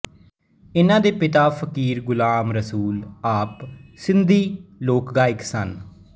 ਇਨ੍ਹਾਂ ਦੇ ਪਿਤਾ ਫਕੀਰ ਗ਼ੁਲਾਮ ਰਸੂਲ ਆਪ ਸਿੰਧੀ ਲੋਕ ਗਾਇਕ ਸਨ